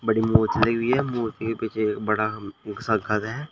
बड़ी मोचड़ी भी है मूर्ति के पीछे बड़ा सा घर है।